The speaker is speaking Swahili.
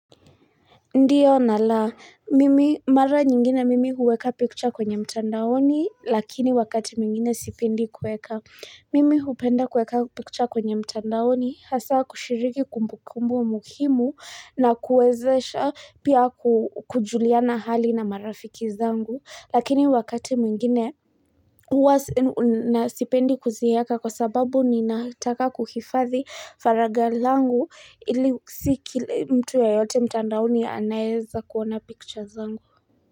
Ndiyo na la, mara nyingine mimi huweka picha kwenye mtandaoni lakini wakati mwingine sipendi kueka Mimi hupenda kueka picha kwenye mtandaoni hasa kushiriki kumbukumbu muhimu na kuwezesha pia kujuliana hali na marafiki zangu lakini wakati mwingine Huwa na sipendi kuziweka kwa sababu ninataka kuhifadhi faraga langu ili si kila mtu yeyote mtandaoni ya anaeza kuona picture zangu.